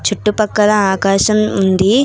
చుట్టుపక్కల ఆకాశం ఉంది.